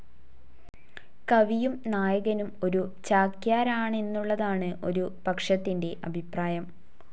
കവിയും നായകനും ഒരു ചാക്യാരാണെന്നുള്ളതാണ് ഒരു പക്ഷത്തിൻ്റെ അഭിപ്രായം.